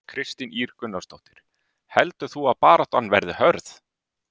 Kristín Ýr Gunnarsdóttir: Heldur þú að baráttan verði hörð?